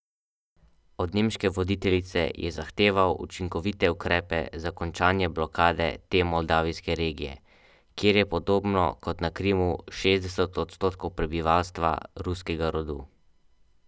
Od nemške voditeljice je zahteval učinkovite ukrepe za končanje blokade te moldavijske regije, kjer je podobno kot na Krimu šestdeset odstotkov prebivalstva ruskega rodu.